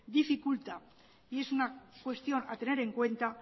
dificulta y es una cuestión a tener en cuenta